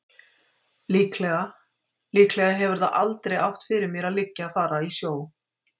Líklega. líklega hefur það aldrei átt fyrir mér að liggja að fara í sjó.